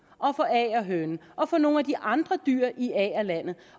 og for agerhønen og for nogle af de andre dyr i agerlandet